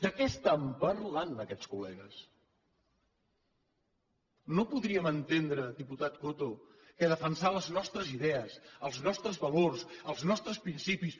de què estan parlant aquests col·legues no podríem entendre diputat coto que defensar les nostres idees els nostres valors els nostres principis